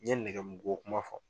N ye nɛgɛ mu ko kuma fɔ